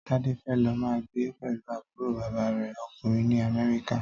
Tade fè lò mà gbé pèlú àbúró bàbá rè (òkúnrìn) ni Amèriká